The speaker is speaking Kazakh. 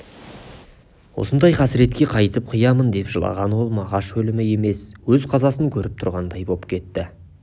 осындай қасіретке қайтіп қиямын деп жылаған ол мағаш өлімі емес өз қазасын көріп тұрғандай боп кетті